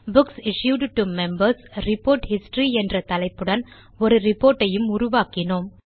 books issued to Members report history என்ற தலைப்புடன் ஒரு ரிப்போர்ட் ஐயும் உருவாக்கினோம்